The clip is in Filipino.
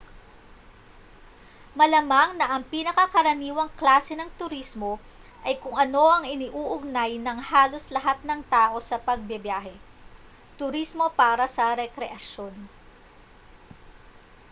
malamang na ang pinakakaraniwang klase ng turismo ay kung ano ang iniuugnay ng halos lahat ng tao sa pagbibiyahe turismo para sa rekreasyon